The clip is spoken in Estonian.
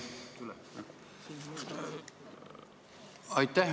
Aitäh!